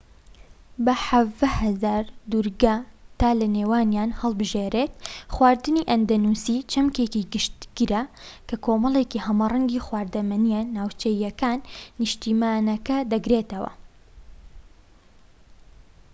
بە 17,000 دوورگە تا لە نێوانیان هەڵبژێریت خواردنی ئەندەنوسی چەمکێکی گشتگرە کە کۆمەڵێکی هەمەرەنگی خواردەمەنیە ناوچەییەکان نیشتیمانەکە دەگرێتەوە